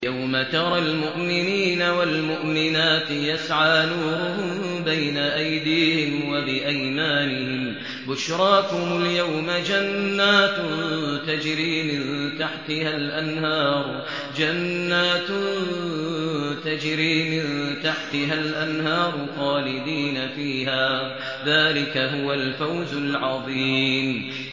يَوْمَ تَرَى الْمُؤْمِنِينَ وَالْمُؤْمِنَاتِ يَسْعَىٰ نُورُهُم بَيْنَ أَيْدِيهِمْ وَبِأَيْمَانِهِم بُشْرَاكُمُ الْيَوْمَ جَنَّاتٌ تَجْرِي مِن تَحْتِهَا الْأَنْهَارُ خَالِدِينَ فِيهَا ۚ ذَٰلِكَ هُوَ الْفَوْزُ الْعَظِيمُ